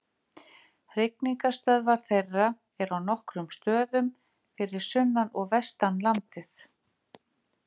Hrygningarstöðvar þeirra eru á nokkrum stöðum fyrir sunnan og vestan landið.